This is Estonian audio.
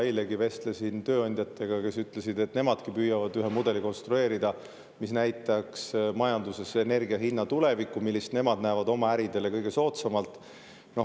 Eilegi vestlesin tööandjatega, kes ütlesid, et nemadki püüavad konstrueerida ühe mudeli, mis näitaks energia hinna tulevikku majanduses, seda, millist hinda nemad näevad oma äridele kõige soodsamana.